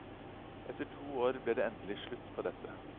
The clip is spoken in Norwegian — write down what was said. Etter to år ble det endelig slutt på dette.